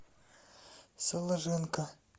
соложенко